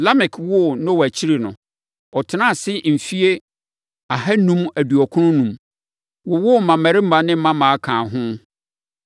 Lamek woo Noa akyiri no, ɔtenaa ase mfeɛ ahanum aduɔkron enum, wowoo mmammarima ne mmammaa kaa ho.